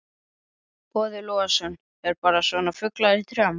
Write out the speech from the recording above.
Boði Logason: Eða bara svona fuglar í trjám?